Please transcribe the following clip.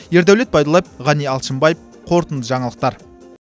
ердәулет байдуллаев ғани алшынбаев қорытынды жаңалықтар